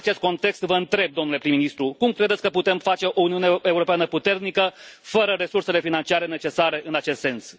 În acest context, vă întreb, domnule prim ministru, cum credeți că putem face o Uniune Europeană puternică fără resursele financiare necesare în acest sens?